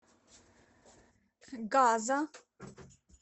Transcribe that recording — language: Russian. газа